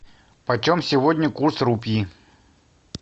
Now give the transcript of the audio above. по чем сегодня курс рупии